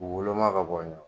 K'u woloma ka bɔn ye